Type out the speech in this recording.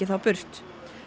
þá burt